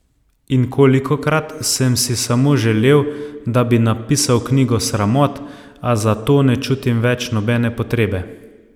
In kolikokrat sem si samo želel, da bi napisal knjigo sramot, a za to ne čutim več nobene potrebe.